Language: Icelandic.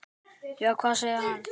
Já, hvað sagði hann?